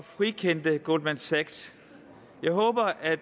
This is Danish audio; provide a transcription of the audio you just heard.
frikendte goldman sachs jeg håber at